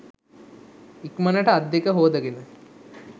ඉක්මනට අත් දෙක හෝදගෙන